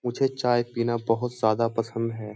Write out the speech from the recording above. मुझे चाय पीना बहोत ज्यादा पसंद है।